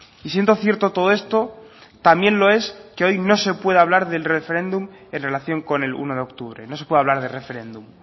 y siendo cierto todo esto también lo es que hoy no se puede hablar del referéndum en relación con el uno de octubre no se puede hablar de referéndum